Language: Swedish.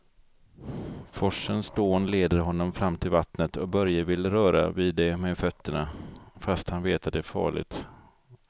Forsens dån leder honom fram till vattnet och Börje vill röra vid det med fötterna, fast han vet att det är farligt.